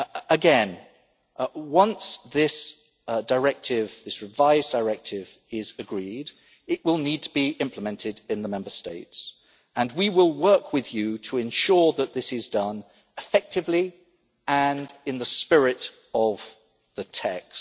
Again, once this revised Directive is agreed, it will need to be implemented in the Member States, and we will work with you to ensure that this is done effectively and in the spirit of the